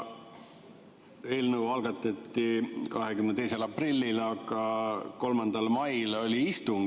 Eelnõu algatati 22. aprillil ja 3. mail oli istung.